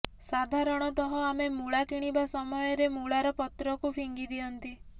ସାଧାରଣତଃ ଆମେ ମୂଳା କିଣିବା ସମୟରେ ଆମେ ମୂଳାର ପତ୍ରକୁ ଫିଙ୍ଗି ଦିଅନ୍ତି